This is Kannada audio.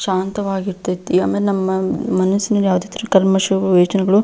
ಶಾಂತವಾಗಿರ್ತಿತ್ತು ಯಾಮೇ ನಮ್ಮ ಮನಸಿನಲ್ಲಿ ಯಾವುದೇ ತರದ ಕಲ್ಮಶ ಯೋಚನೆಗಳು.